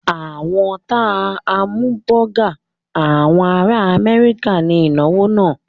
Wọ́n ta hámúbọgà àwọn ará Amẹ́ríkà ní ìnáwó náà.